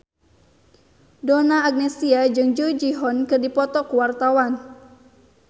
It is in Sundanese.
Donna Agnesia jeung Jung Ji Hoon keur dipoto ku wartawan